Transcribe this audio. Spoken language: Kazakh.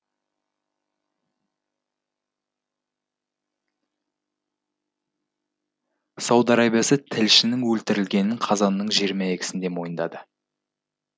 сауд арабиясы тілшінің өлтірілгенін қазанның жиырма екісінде мойындады